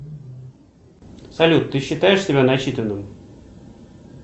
салют ты считаешь себя начитанным